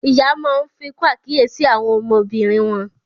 Ìyá Món fikun àkíyèsí àwọn ọmọbìnrin wón.